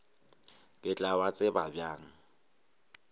ke tla ba tseba bjang